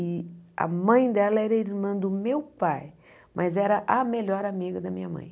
E a mãe dela era irmã do meu pai, mas era a melhor amiga da minha mãe.